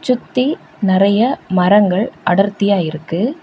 சுத்தி நெறைய மரங்கள் அடர்த்தியா இருக்கு.